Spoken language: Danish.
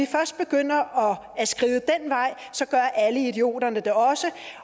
først begynder at skride den vej så gør alle idioterne det også